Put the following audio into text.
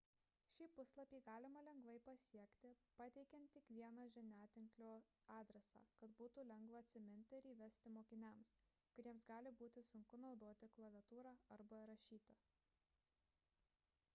šį puslapį galima lengvai pasiekti pateikiant tik vieną žiniatinklio adresą kad būtų lengva atsiminti ir įvesti mokiniams kuriems gali būti sunku naudoti klaviatūrą arba rašyti